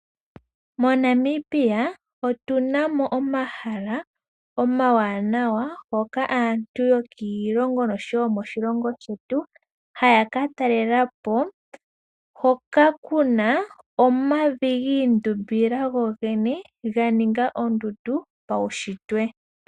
MoNamibia otunamo omahala ngoka omawanawa moka aantu yokiilongo osho wo yomoshilongo shetu haya ka talelapo hoka kuna omavi giindumbila go gene, ga ninga ondundu paushitwe.